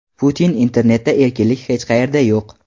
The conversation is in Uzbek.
Putin: Internetda erkinlik hech qayerda yo‘q.